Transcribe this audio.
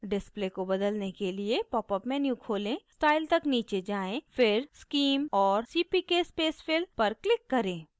display को बदलने के लिए popअप menu खोलें style तक नीचे जाएँ फिर scheme और cpk spacefill पर click करें